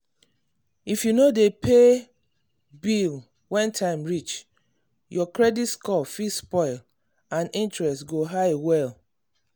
if you no dey pay bill when time reach your credit score fit spoil and interest go high well.